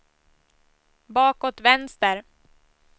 bakåt vänster